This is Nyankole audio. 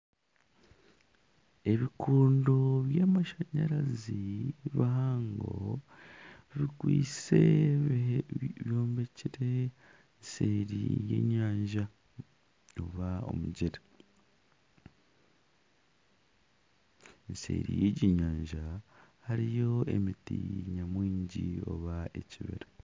Ebikondo by'amashanyarazi bihango bikwaitse byombekire seeri y'enyanja oba omugyera eseeri y'egi nyanja hariyo emiti nyamwingi oba ekibira.